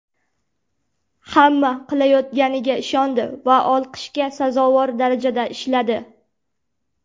Hamma qilayotganiga ishondi va olqishga sazovor darajada ishladi.